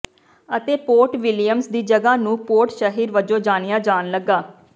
ਅਤੇ Port Williams ਦੀ ਜਗ੍ਹਾ ਨੂੰ ਪੋਰਟ ਸ਼ਹਿਰ ਵਜੋਂ ਜਾਣਿਆ ਜਾਣ ਲੱਗਾ